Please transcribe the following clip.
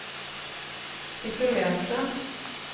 isolerte